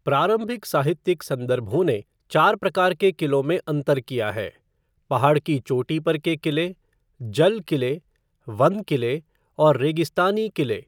प्रारंभिक साहित्यिक संदर्भों ने चार प्रकार के किलों में अंतर किया है - पहाड़ की चोटी पर के किले, जल किले, वन किले और रेगिस्तानी किले।